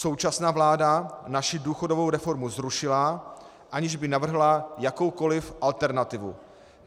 Současná vláda naši důchodovou reformu zrušila, aniž by navrhla jakoukoliv alternativu.